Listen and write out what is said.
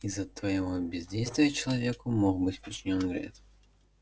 из-за твоего бездействия человеку мог быть причинен вред